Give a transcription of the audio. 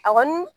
A kɔni